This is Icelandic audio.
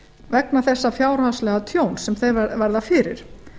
vegna þess fjárhagslega tjóns sem þeir verða fyrir